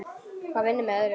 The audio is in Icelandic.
Hvað vinnur með öðru.